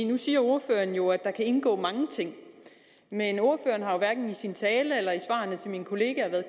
nu siger ordføreren jo at der kan indgå mange ting men ordføreren har hverken i sin tale eller i svarene til min kollega været